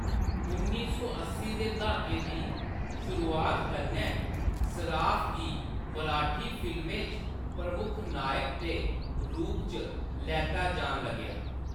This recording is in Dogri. उन्नी सौ अस्सी दे दहाके दी शुरुआत कन्नै, सराफ़ गी मराठी फिल्में च प्रमुख नायक दे रूप च लैता जान लगेआ।